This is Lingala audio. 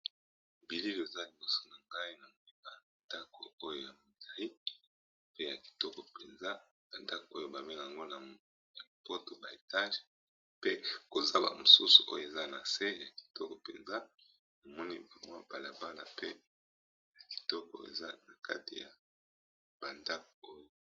Bilili eza liboso na ngai na meba ndako oyo ya malai pe ya kitoko mpenza na ndako oyo bame lango na poto ba etage pe koza ba mosusu oyo eza na se ya kitoko mpenza na moni mpumwa balabana pe ya kitoko eza na kati ya bandako oyo.